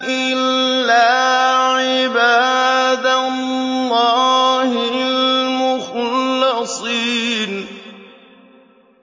إِلَّا عِبَادَ اللَّهِ الْمُخْلَصِينَ